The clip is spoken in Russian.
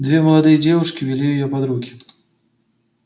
две молодые девушки вели её под руки